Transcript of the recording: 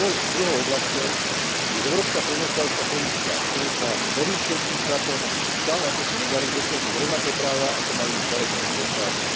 Druhou oblasťou je európska poľnohospodárska politika, v ktorej sa novým členským štátom stále akosi nedarí dosiahnuť rovnaké práva, ako majú staré členské štáty.